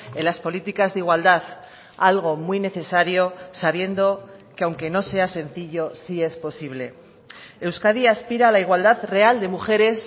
en las políticas de igualdad algo muy necesario sabiendo que aunque no sea sencillo sí es posible euskadi aspira a la igualdad real de mujeres